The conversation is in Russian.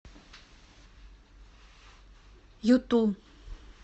юту